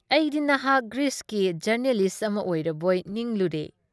ꯑꯩꯗꯤ ꯅꯍꯥꯛ ꯒ꯭ꯔꯤꯁꯀꯤ ꯖꯔꯅꯦꯂꯤꯁ ꯑꯃ ꯑꯣꯏꯔꯕꯣꯏ ꯅꯤꯡꯂꯨꯔꯦ ꯫